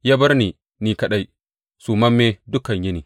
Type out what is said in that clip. Ya bar ni ni kaɗai, sumamme dukan yini.